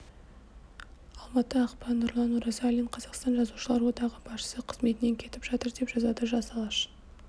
алматы ақпан нұрлан оразалин қазақстан жазушылар одағы басшысы қызметінен кетіп жатыр деп жазады жас алаш